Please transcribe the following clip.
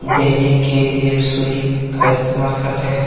देने के लिए सुई का इस्तेमाल करते है।